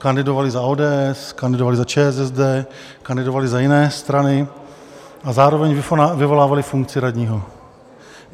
Kandidovali za ODS, kandidovali za ČSSD, kandidovali za jiné strany a zároveň vykonávali funkci radního.